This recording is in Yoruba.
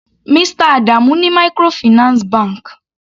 Mr Adamu ní microfinance bank.